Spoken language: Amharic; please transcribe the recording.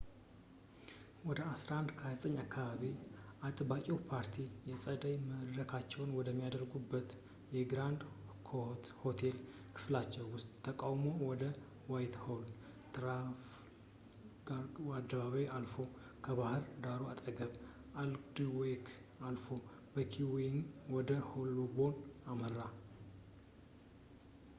ወደ 11፡29 አካባቢ፣ አጥባቂው ፓርቲ የጸደይ መድረካቸውን ወደሚያደርጉበት በግራንድ ኮኖት የሆቴል ክፍላቸው ውስጥ ተቃውሞው ወደ ዋይትሆል፣ ትራፋልጋር አደባባይን አልፎ፣ በባህድ ዳሩ አጠገብ፣ በአልድዊክ አልፎ በኪንግስዌይ ወደ ሆልቦርን አመራ